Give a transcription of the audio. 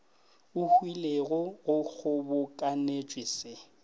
e hwilego go kgobokanetšwe se